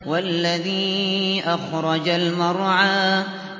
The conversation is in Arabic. وَالَّذِي أَخْرَجَ الْمَرْعَىٰ